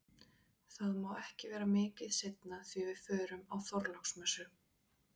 Það má ekki vera mikið seinna því við förum á Þorláksmessu